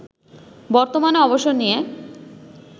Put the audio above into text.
বর্তমানে অবসর নিয়ে